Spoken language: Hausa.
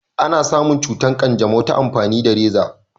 ana samun cutar kyanjamau ta amfani da raza